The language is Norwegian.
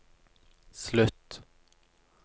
slutt